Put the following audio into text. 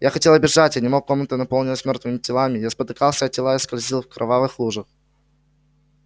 я хотела бежать и не мог комната наполнилась мёртвыми телами я спотыкался о тела и скользил в кровавых лужах